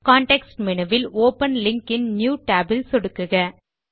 context menu வில் open link in new tab இல் சொடுக்குக